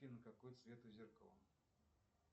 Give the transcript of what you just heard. афина какой цвет у зеркала